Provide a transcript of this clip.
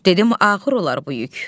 Dedim ağır olar bu yük.